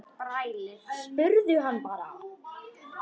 Spurðu hann bara.